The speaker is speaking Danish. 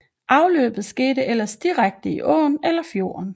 Afløbet skete ellers direkte i åen eller fjorden